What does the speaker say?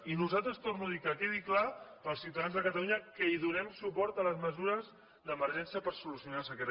i nosaltres ho torno a dir que quedi clar per als ciutadans de catalunya que donem suport a les mesures d’emergència per solucionar la sequera